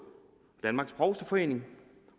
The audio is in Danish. danmarks provsteforening